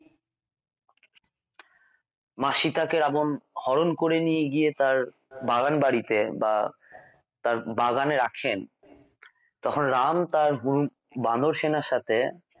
মা সীতা কে রাবন হরণ করে নিয়ে গিয়ে তাঁর বাগানবাড়িতে বা তার বাগানে রাখেন তখন রাম তার হম বানর সেনার সাথে